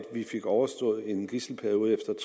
vi fik overstået en gidselsituation